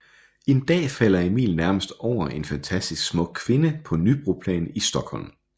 En dag falder Emil nærmest over en fantastisk smuk kvinde på Nybroplan i Stockholm